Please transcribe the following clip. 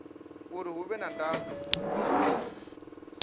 uri hu vhe na ndozwo